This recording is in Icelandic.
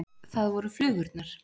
Það voru flugurnar.